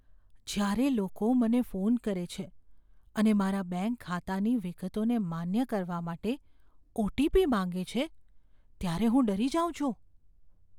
જ્યારે લોકો મને ફોન કરે છે અને મારા બેંક ખાતાની વિગતોને માન્ય કરવા માટે ઓ.ટી.પી. માંગે છે ત્યારે હું ડરી જાઉં છું.